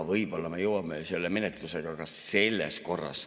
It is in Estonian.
Võib-olla me jõuame selle menetlusega ka selles korras.